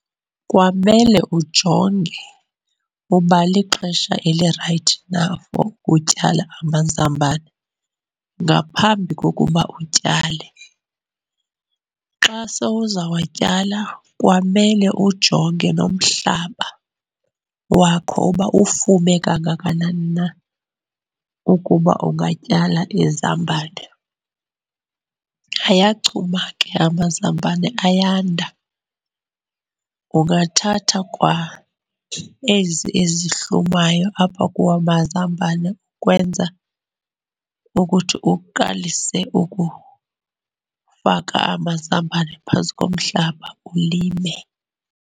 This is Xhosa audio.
Kwamele ujonge uba lixesha elirayithi na for utyala amazambane, ngaphambi kokuba utyale. Xa sowuzawatyalwa kwamele ujonge nomhlaba wakho uba ufume kangakanani na ukuba ungatyala izambane. Ayachuma ke amazambane, ayanda. Ungathatha kwa ezi ezihlumayo apha kuwo amazambane ukwenza ukuthi uqalise ukufaka amazambane phantsi komhlaba ulime.